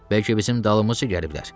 Bəlkə bizim dalımızca gəliblər.